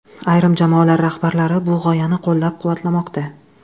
Ayrim jamoalar rahbarlari bu g‘oyani qo‘llab-quvvatlamoqda.